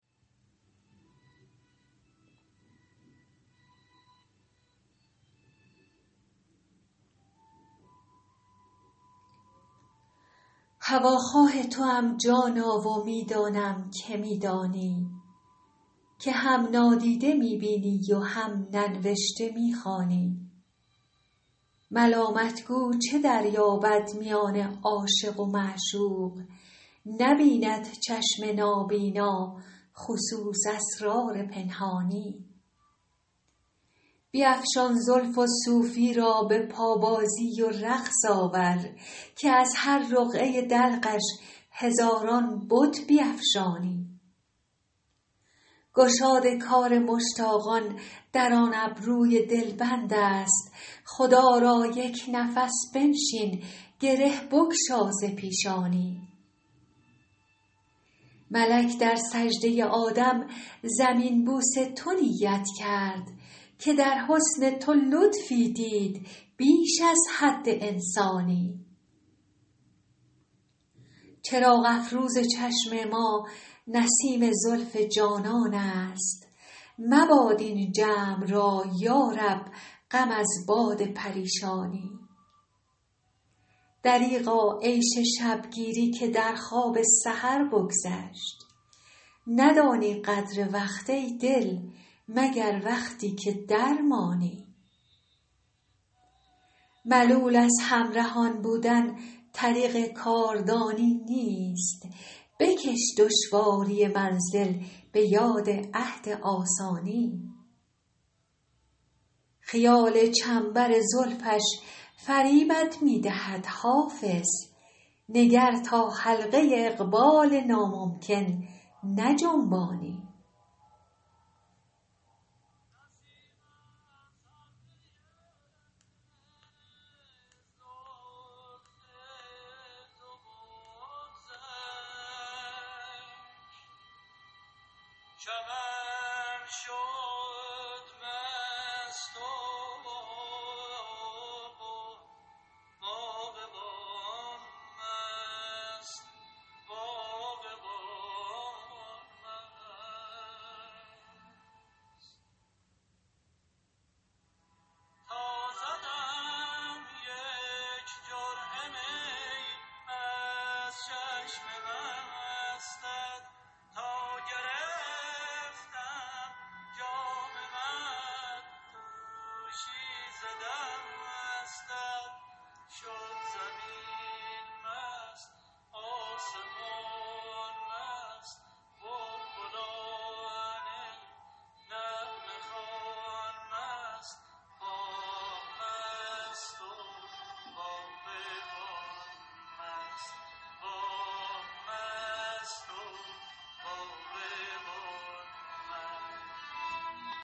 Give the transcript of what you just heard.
هواخواه توام جانا و می دانم که می دانی که هم نادیده می بینی و هم ننوشته می خوانی ملامت گو چه دریابد میان عاشق و معشوق نبیند چشم نابینا خصوص اسرار پنهانی بیفشان زلف و صوفی را به پابازی و رقص آور که از هر رقعه دلقش هزاران بت بیفشانی گشاد کار مشتاقان در آن ابروی دلبند است خدا را یک نفس بنشین گره بگشا ز پیشانی ملک در سجده آدم زمین بوس تو نیت کرد که در حسن تو لطفی دید بیش از حد انسانی چراغ افروز چشم ما نسیم زلف جانان است مباد این جمع را یا رب غم از باد پریشانی دریغا عیش شب گیری که در خواب سحر بگذشت ندانی قدر وقت ای دل مگر وقتی که درمانی ملول از همرهان بودن طریق کاردانی نیست بکش دشواری منزل به یاد عهد آسانی خیال چنبر زلفش فریبت می دهد حافظ نگر تا حلقه اقبال ناممکن نجنبانی